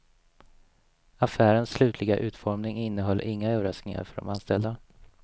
Affärens slutliga utformning innehöll inga överraskningar för de anställda.